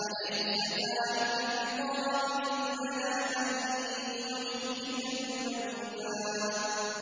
أَلَيْسَ ذَٰلِكَ بِقَادِرٍ عَلَىٰ أَن يُحْيِيَ الْمَوْتَىٰ